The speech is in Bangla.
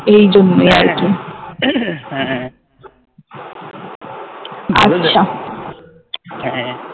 এই জন্যই আচ্ছা